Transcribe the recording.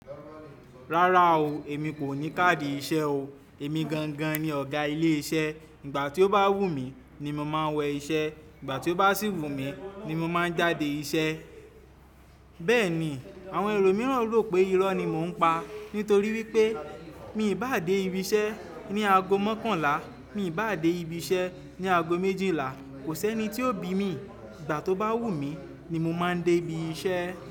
Rárá o, èmi kò ní káàdì iṣẹ́ o. Èmi gangan ni ọ̀gá ilé iṣẹ́. Ìgbà tí ó bá wù mí ni mo máa ń wọ iṣẹ́, ìgbà tí ó bá sì wù mí ni mo máa ń jáde ìṣe. Bẹ́ẹ̀ ni, àwọn ẹlòmíràn rò pé irọ́ ni mò ń pa nítorí wípé mi ì bá dé ibi iṣẹ́ ní ago mọ́kànlá, mi ì bá dé ibi iṣẹ́ ní ago méjìlá, kò sẹ́ni tí ó bí mi. Ìgbà tó bá wù mí ni mo máa ń dé ibi iṣẹ́